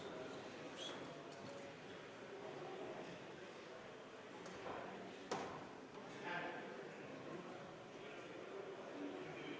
V a h e a e g